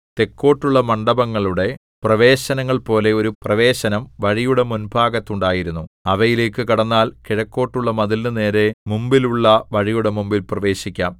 തെക്കോട്ടുള്ള മണ്ഡപങ്ങളുടെ പ്രവേശനങ്ങൾ പോലെ ഒരു പ്രവേശനം വഴിയുടെ മുൻഭാഗത്ത് ഉണ്ടായിരുന്നു അവയിലേക്കു കടന്നാൽ കിഴക്കോട്ടുള്ള മതിലിനു നേരെ മുമ്പിലുള്ള വഴിയുടെ മുമ്പിൽ പ്രവേശിക്കാം